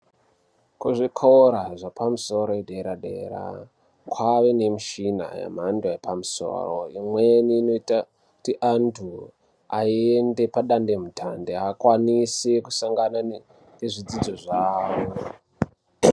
Kuzvikora zvepamusoro dera dera kwaane mishini yemhando yepamusoro imweni inoita kuti antu aende padande mutande akwanise kusangana nezvidzidzo zvavo.